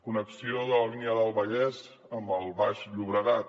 connexió de la línia del vallès amb el baix llobregat